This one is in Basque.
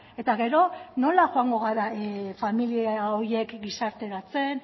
eta gero nola joango gara familia horiek gizarteratzen